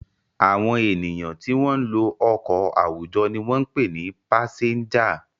Àwọn ènìyàn tí wọ́n ń lo ọkọ̀ àwùjọ ni wọ́n ń pè ní pásẹ́ńjà.